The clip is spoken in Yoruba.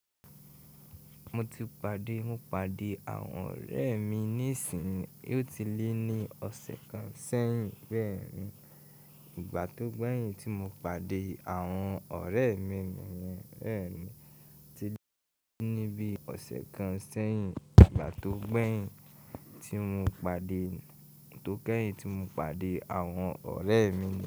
Mo ti pàdé, mo pàdé àwọn ọ̀rẹ́ mi nísinsìnyí. Ó ti lé ní ọ̀sẹ̀ kan sẹ́yìn bẹ́ẹ̀ ni. Ìgbà tó gbẹ̀yìn tí mo pàdé àwọn ọ̀rẹ́ mi nìyẹn bẹ́ẹ̀ ni. Ti lé ní bíi ọ̀sẹ̀ kan sẹ́yìn ìgbà tó gbẹ̀yìn tí mo pàdé, tó kẹ́yìn tí mo pàdé àwọn ọ̀rẹ́ mi.